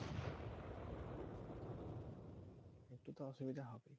একটু তো অসুবিধা হবেই।